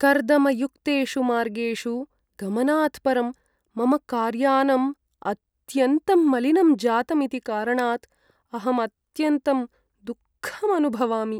कर्दमयुक्तेषु मार्गेषु गमनात् परं मम कार्यानम् अत्यन्तं मलिनं जातम् इति कारणात् अहं अत्यन्तं दुःखम् अनुभवामि।